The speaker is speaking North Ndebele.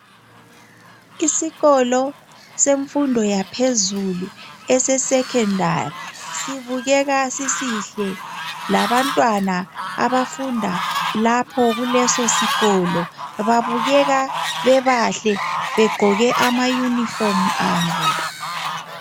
Isikolo semfundo yaphezulu ese Secondary labantwana abafunda lapho kulesosikolo babukeka bebahle begqoke ama yunifomu abo.